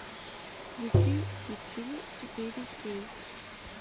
включи пиксели четыре кей